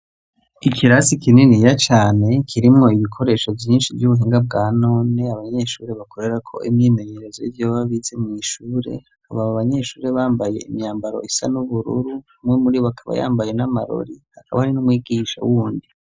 Ikirasi kinini ya cane kirimwo ibikoresho vyinshi vy'ubuhinga bwa none abanyeshuri bakorera ko imwimenyerezo yivyo bababize mw'ishure aba abo abanyeshuri bambaye imyambaro isa n'ubururu umwe muri bo akaba yambaye n'amarori akaba ari n'umwigisha wundi.